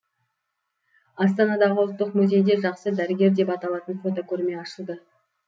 астанадағы ұлттық музейде жақсы дәрігер деп аталатын фотокөрме ашылды